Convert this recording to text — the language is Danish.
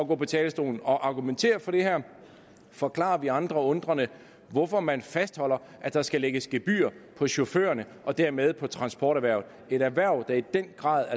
gå på talerstolen og argumentere for det her og forklare vi andre undrende hvorfor man fastholder at der skal lægges gebyr på chaufførerne og dermed på transporterhvervet et erhverv der i den grad